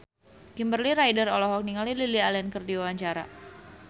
Kimberly Ryder olohok ningali Lily Allen keur diwawancara